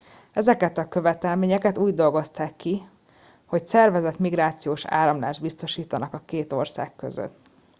ezeket a követelményeket úgy dolgozták ki hogy szervezett migrációs áramlást biztosítsanak a két ország között